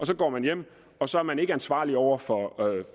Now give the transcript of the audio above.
så går hjem og så er man ikke ansvarlig over for